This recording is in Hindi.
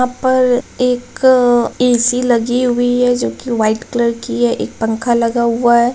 यहाँ पर एक ए.सी. लगी हुई है जो कि वाइट कलर की है एक पंखा लगा हुआ है।